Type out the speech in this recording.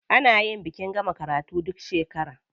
A nayi bikin gama karatu duk shekara.